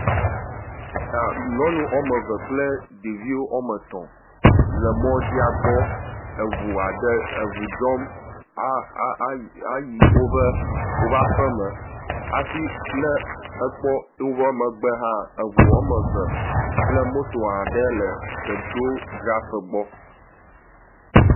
Nyɔnu woameve kple ɖeviwo woame etɔ̃ le mɔdzia gbɔ eʋu aɖe, eʋu dzɔm a a ayi woƒe aƒeme hafi nɛ ekpɔ wobe megbe hã eʋu woameve kple moto aɖe le petrol dzraƒe gbɔ.